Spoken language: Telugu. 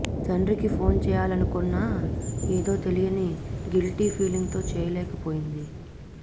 తండ్రికి ఫోన్ చేయాలనుకున్నా ఏదో తెలియని గిల్టీ ఫీలింగ్ తో చేయలేకపోయింది